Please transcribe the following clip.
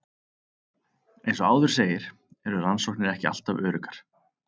Eins og áður segir eru rannsóknir ekki alltaf öruggar.